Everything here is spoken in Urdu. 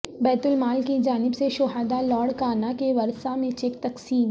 بیت المال کی جانب سے شہداء لاڑکانہ کے ورثاء میں چیک تقسیم